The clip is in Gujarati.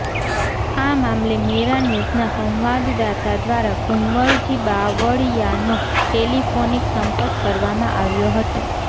આ મામલે મેરાન્યૂઝના સંવાદદાતા દ્વારા કુંવરજી બાવળિયાનો ટેલિફોનિક સંપર્ક કરવામાં આવ્યો હતો